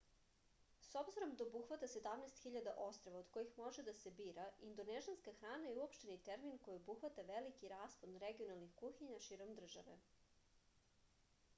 s obzirom da obuhvata 17.000 ostrva od kojih može da se bira indonežanska hrana je uopšteni termin koji obuhvata veliki raspon regionalnih kuhinja širom države